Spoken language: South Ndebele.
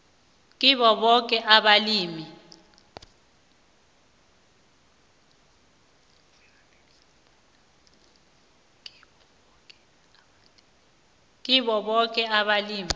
kibo boke abalimi